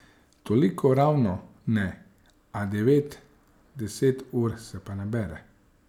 Toliko ravno ne, a devet, deset ur se pa nabere.